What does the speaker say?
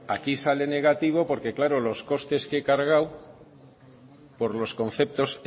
aquí sale negativo porque claro los costes que he cargado por los conceptos